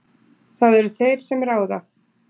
Það eru þeir sem ráða.